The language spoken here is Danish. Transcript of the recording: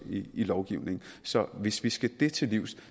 i lovgivningen så hvis vi skal det til livs